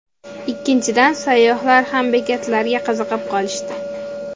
Ikkinchidan sayyohlar ham bekatlarga qiziqib qolishdi.